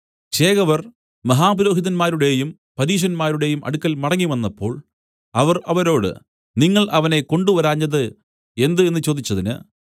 ചേവകർ മഹാപുരോഹിതന്മാരുടെയും പരീശന്മാരുടെയും അടുക്കൽ മടങ്ങിവന്നപ്പോൾ അവർ അവരോട് നിങ്ങൾ അവനെ കൊണ്ടുവരാഞ്ഞത് എന്ത് എന്നു ചോദിച്ചതിന്